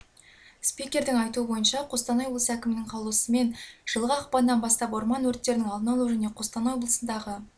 спикердің айтуынша қостанай облысы әкімінің қаулысымен жылғы ақпаннан бастап орман өрттерінің алдын алу және қостанай облысындағы